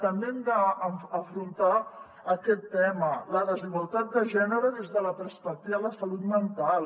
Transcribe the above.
també hem d’afrontar aquest tema la desigualtat de gènere des de la perspectiva de la salut mental